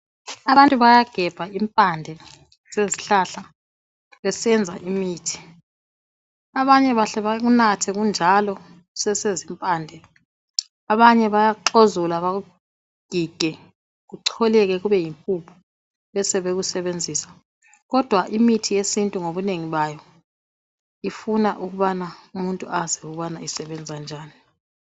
Abantu bayagebha impande zezihlahla besenza imithi. Abanye bahle bakunathe kunjalo kusesezimpande. Abanye bayakuxezula, bakugige, kucholeke kube yimpuphu. Besebekusebenzisa, kodwa imithi yesintu ngobunengi bayo. Ifuna ukubana umuntu azi ukuthi isebenza njani.